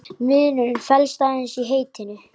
Munurinn felst aðeins í heitinu.